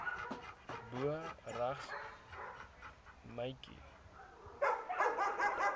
bo regs meidjie